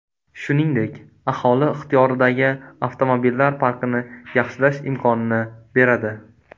Shuningdek, aholi ixtiyoridagi avtomobillar parkini yaxshilash imkonini beradi.